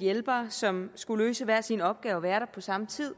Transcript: hjælpere som skulle løse hver sin opgave og være der på samme tid